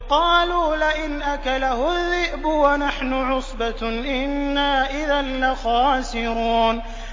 قَالُوا لَئِنْ أَكَلَهُ الذِّئْبُ وَنَحْنُ عُصْبَةٌ إِنَّا إِذًا لَّخَاسِرُونَ